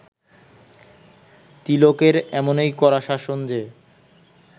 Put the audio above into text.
তিলকের এমনই কড়া শাসন যে